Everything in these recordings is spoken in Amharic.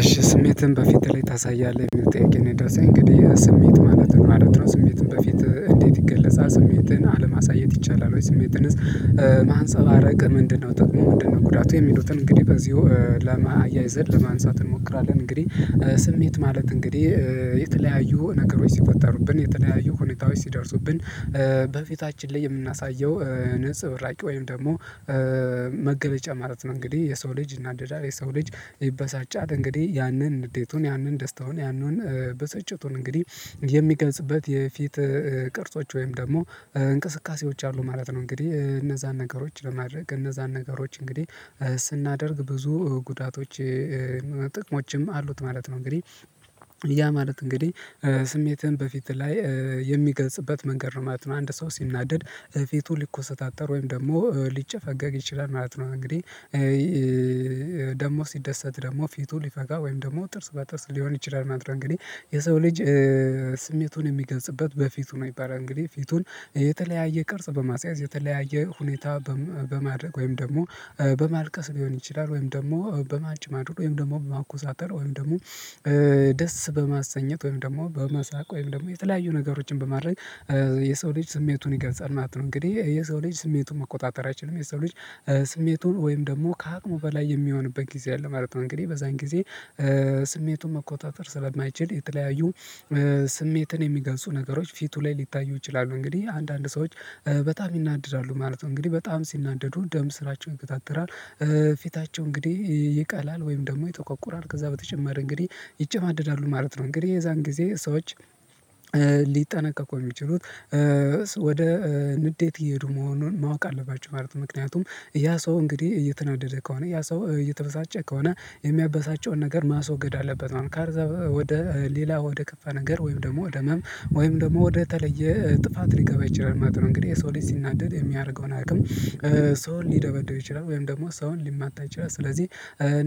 እሺ ስሜትን በፊት ላይ ታሳያለህ የምል ጥያቄ ነው የደረሰኝ እንግዲህ ስሜት ማለት ምን ማለት ነው? ስሜትን በፊት እንዴት ይገለጻ ስሜትን አለማሳየት ይቻላል ወይ ስሜትንስ ማንፀባረቅ ምንድነው ጠቅሙ ምንድነው ጉዳቱ የሚሉትን? እንግዲህ በዚሁ ለማ አያይዘን ለማንሳት እንሞክራለን። እንግዲህ ስሜት ማለት እንግዲህ የተለያዩ ነገሮች ሲፈጠሩብን የተለያዩ ሁኔታዎች ሲደርሱብን በፊታችን ላይ የምናሳየው ነፀብራቅ ወይም ደግሞ መገለጫ ማለት ነው። እንግዲህ የሰው ልጅ ይናደዳ የሰው ልጅ ይበሳጫል እንግዲህ ያንን ንዴቱን ያንን ደስታውን ያንን ብስጨቱን እንግዲህ የሚገልፅበት የፊት ቅርጾች ወይም ደግሞ እንቅስቃሴዎች አሉ ማለት ነው። እንግዲህ እነዛን ነገሮች ለማድረግ እነዛን ነገሮች እንግዲህ ስናደርግ ብዙ ጉዳቶች ጥቅሞችም አሉት ማለት ነው። እንግዲህ ያ ማለት እንግዲህ ስሜትን በፊት ላይ የሚገልጽበት መንገድ ነው ማለት ነው። አንድ ሰው ሲናደድ ፊቱ ሊኮሰታተር ወይም ደግሞ ሊጨፈገግ ይችላል ማለት ነው። እንግዲህ ደግሞ ሲደሰት ደግሞ ፊቱ ሊፈጋ ወይም ደግሞ ጥርስ በጥርስ ሊሆን ይችላል ማለት ነው። እንግዲህ የሰው ልጅ ስሜቱን የሚገልጽበት በፊቱ ነው። ይባለል እንግዲህ ፊቱን የተለያየ ቅርጽ በማስያዝ የተለያየ ሁኔታ በ በማድረግ ወይም ደግሞ በማልቀስ ቢሆን ይችላል ወይም ደግሞ በማጨማደድ ወይም ደግሞ በማኮሳተር ወይም ደግሞ ደስ በማሰኜት ወይም ደግሞ በመሳቅ ወይም ደግሞ የተለያዩ ነገሮችን በማድረግ የሰው ልጅ ስሜቱን ይገልጻል ማለት ነው። እንግዲህ የሰው ልጅ ስሜቱን መቆጣጠር አይችልም የሰው ልጅ ስሜቱን ወይም ደግሞ ከአቅሙ በላይ የሚሆንበት ጊዜ አለ ማለት ነው። እንግዲህ በዛን ጊዜ ስሜቱን መቆጣጠር ስለማይችል የተለያዩ ስሜትን የሚገልጹ ነገሮች ፊቱ ላይ ሊታዩ ይችላሉ። እንግዲህ አንዳንድ ሰዎች በጣም ይናደዳሉ ማለት ነው እንግዲህ በጣም ሲናደዱ ደም ስራቸውን ይገታተራል። ፊታቸው እንግዲህ ይቃላል ወይም ደግሞ የጠቆቁራል ከዛ በተጨማሪ እንግዲህ ይጨማደዳሉ ማለት ነው። እንግዲህ የዛን ጊዜ ሰዎች ሊጠነቀቁ የሚችሉት ወደ ንዴት እየሄዱ መሆኑን ማወቅ አለባቸው ማለት። ምክንያቱም ያ ሰው እንግዲህ እየተናደደ ከሆነ ያ ሰው እየተበሳጨ ከሆነ የሚያበሳጨውን ነገር ማስወገድ አለበት ነው። ካዛ ወደ ሌላ ወደ ከፋ ነገር ወይም ደግሞ ወደ ህመም ወይም ደግሞ ወደ ተለየ ጥፋት ሊገባ ይችላል ማለት ነው። እንግዲህ የሰው ሲናደድ የሚያደርገውን አያውቅም ሰውን ሊደበደው ይችላል ወይም ደግሞ ሰውን ሊማታ ይችላል። ሥለዚህ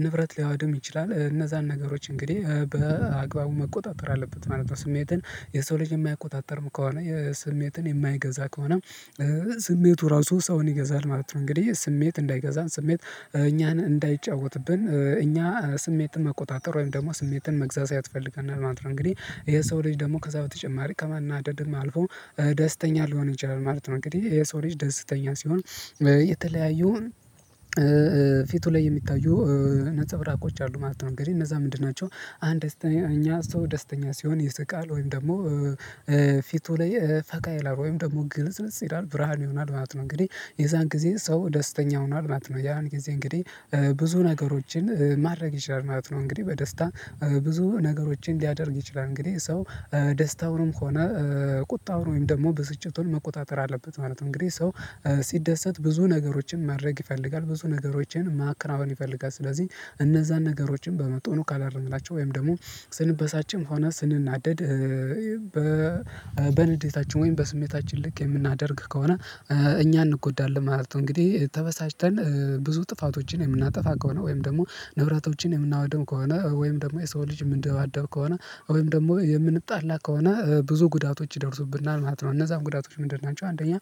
ንብረት ሊያወድም ይችላል እነዛን ነገሮች እንግዲህ በአግባቡ መቆጣጠር አለበት ማለት ነው። ስሜትን የሰው ልጅ የማያቆጣጥርም ከሆነ የስሜትን የማይገዛ ከሆነ ስሜቱ ራሱ ሰውን ይገዛል ማለት ነው። እንግዲህ ስሜት እንዳይገዛን ስሜት እኛን እንዳይጫወትብን እኛ ስሜትን መቆጣጠር ወይም ደግሞ ስሜትን መግዛት ያስፈልገናል ማለት ነው። እንግዲህ ይሄ ሰው ልጅ ደግሞ ከዛ በተጨማሪ ከመናደድም አልፎ ደስተኛ ሊሆን ይችላል ማለት ነው። እንግዲህ የሰው ልጅ ደስተኛ ሲሆን የተለያዩን ፊቱ ላይ የሚታዩ ነፀብራቆች አሉ ማለት ነው። እንግዲህ እነዛ ምንድን ናቸው? አንደኛ ሰው ደስተኛ ሲሆን ይስቃል ወይም ደግሞ ፊቱ ላይ ፈቃ ይላል ወይም ደግሞ ግልጽልጽ ይላል ብርሃን ይሆናል ማለት ነው። እንግዲህ የዛን ጊዜ ሰው ደስተኛ ሆኗል ማለት ነው። ያን ጊዜ እንግዲህ ብዙ ነገሮችን ማረግ ይችላል ማለት ነው። እንግዲህ በደስታ ብዙ ነገሮችን ሊያደርግ ይችላል እንግዲህ ሰው ደስታውንም ሆነ ቁጣውን ወይም ደግሞ ብስጭቱን መቆጣጠር አለበት ማለት ነው። እንግዲህ ሰው ሲደሰት ብዙ ነገሮችን ማድረግ ይፈልጋል ብዙ ነገሮችን ማከናወን ይፈልጋል ስለዚህ እነዛን ነገሮችን በመጥኑ ከላደረግናቸው ወይም ደግሞ ስንበሳጭም ሆነ ስንናደድ በንዴታችን ወይም በስሜታችን ልክ የምናደርግ ከሆነ እኛ እንጎዳለን ማለት ነው። እንግዲህ ተበሳጭተን ብዙ ጥፋቶችን የምናጠፋ ከሆነ ወይም ደግሞ ንብረቶችን የምናወድም ከሆነ ወይም ደግሞ የሰው ልጅ እምንደባደብ ከሆነ ወይም ደግሞ የምንጣላ ከሆነ ብዙ ጉዳቶች ይደርሱብናል ማለት ነው። እነዛም ጉዳቶች ምንድን ናቸው? አንደኛ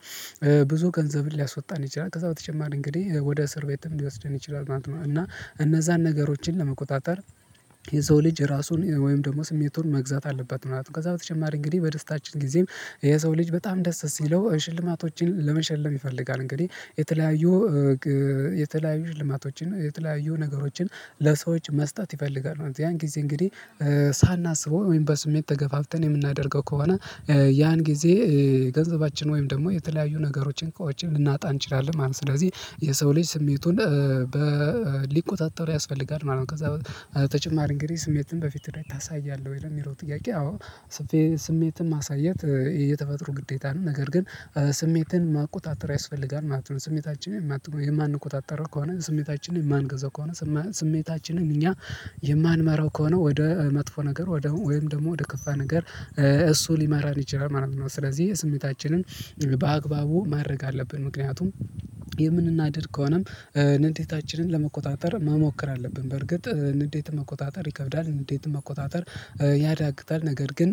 ብዙ ገንዘብን ሊያስወጣን ይችላል ከዛ በተጨማሪ እንግዲህ ወደ እስር ቤትም ሊወስደን ይችላል ማለት ነው። እና እነዛን ነገሮችን ለመቆጣጠር የሰው ልጅ ራሱን ወይም ደግሞ ስሜቱን መግዛት አለባት። ምናምን ከዛ በተጨማሪ እንግዲህ በደስታችን ጊዜም የሰው ልጅ በጣም ደስ ሲለው ሽልማቶችን ለመሸለም ይፈልጋል። እንግዲህ የተለያዩ የተለያዩ ልማቶችን የተለያዩ ነገሮችን ለሰዎች መስጠት ይፈልጋሉ ያን ጊዜ እንግዲህ ሳናስበው ወይም በስሜት ተገፋፍተን የምናደርገው ከሆነ ያን ጊዜ ገንዘባችን ወይም ደግሞ የተለያዩ ነገሮችን እንኳን ልናጣ እንችላለን ማለት ነው። ሥለዚህ የሰው ልጅ ስሜቱን ሊቆጣጠረው ያስፈልጋል ማለት ነው። ከዛ በተጨማሪ እንግዲህ ስሜትን በፊት ላይ ታሳያለህ ወይ የሚለው ጥያቄ? አዎ ስቴ ስሜትን ማሳየት የተፈጥሮ ግዴታ ነው። ነገር ግን ስሜትን ማቆጣጠር ያስፈልጋል ማለት ነው። ስሜታችንን ማ የማንቆጣጠር ከሆነ ስሜታችንን የማንገዛ ከሆነ ስሜታችንን እኛ የማንመራው ከሆነ ወደ መጥፎ ነገር ወደ ወይም ደግሞ ወደ ከፋ ነገር እሱ ሊመራን ይችላል ማለት ነው። ስለዚህ የስሜታችንን በአግባቡ ማድረግ አለብን። ምክንያቱም የምንናደድ ከሆነም ንዴታችንን ለመቆጣጠር መሞከር አለብን። በርግጥ ንዴት መቆጣጠር ይከብዳል ንዴት መቆጣጠር ያዳግታል። ነገር ግን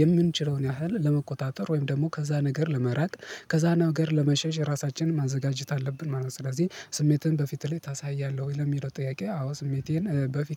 የምንችለውን ያህል ለመቆጣጠር ወይም ደግሞ ከዛ ነገር ለመራቅ ከዛ ነገር ለመሸሽ ራሳችንን ማዘጋጀት አለብን ማለት ነው። ስለዚህ ስሜትን በፊትህ ላይ ታሳያለህ ወይ ለሚለው ጥያቄ? አዎ ስሜቴን በፊት